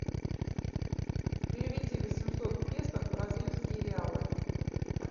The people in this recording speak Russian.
переведи восемьсот песо в бразильские реалы